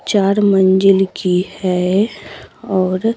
चार मंजिल की है और--